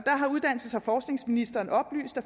forskningsministeren oplyst at